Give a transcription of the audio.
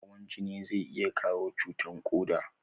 Hawan jini zai iya kawo cutan koda